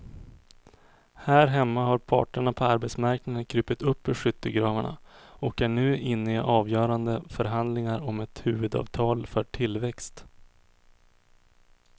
Här hemma har parterna på arbetsmarknaden krupit upp ur skyttegravarna och är nu inne i avgörande förhandlingar om ett huvudavtal för tillväxt.